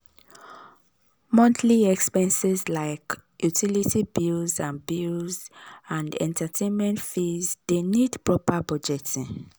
monthly expenses like utility bills and bills and entertainment fees de need proper budgeting.